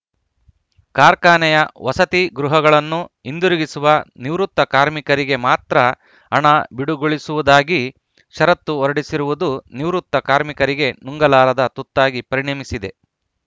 ಕಾರ್ಖಾನೆಯ ವಸತಿ ಗೃಹಗಳನ್ನು ಹಿಂದಿರುಗಿಸುವ ನಿವೃತ್ತ ಕಾರ್ಮಿಕರಿಗೆ ಮಾತ್ರ ಹಣ ಬಿಡುಗೊಳಿಸುವುದಾಗಿ ಷರತ್ತು ಹೊರಡಿಸಿರುವುದು ನಿವೃತ್ತ ಕಾರ್ಮಿಕರಿಗೆ ನುಂಗಲಾರದ ತುತ್ತಾಗಿ ಪರಿಣಮಿಸಿದೆ